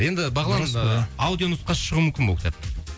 енді бағлан аудио нұсқасы шығуы мүмкін бе ол кітаптың